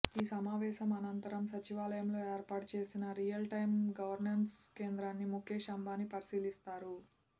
ఈ సమావేశం అనంతరం సచివాలయంలో ఏర్పాటు చేసిన రియల్ టైమ్ గవర్నెన్స్ కేంద్రాన్నిముఖేష్ అంబానీ పరిశీలిస్తారు